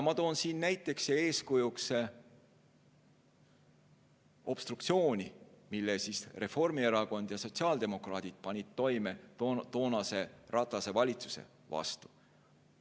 Ma toon siin näiteks ja eeskujuks obstruktsiooni, mille Reformierakond ja sotsiaaldemokraadid panid toime toonase Ratase valitsuse vastu.